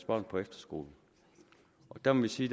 børn på efterskole og der må vi sige